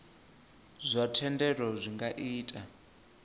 zwa thendelo zwi nga ita